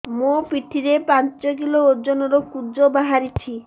ମୋ ପିଠି ରେ ପାଞ୍ଚ କିଲୋ ଓଜନ ର କୁଜ ବାହାରିଛି